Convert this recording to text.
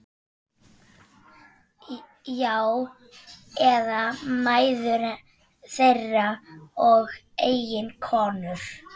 Já, eða mæður þeirra og eiginkonur.